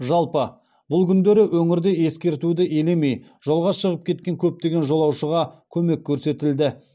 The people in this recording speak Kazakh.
жалпы бұл күндері өңірде ескертуді елемей жолға шығып кеткен көптеген жолаушыға көмек көрсетілді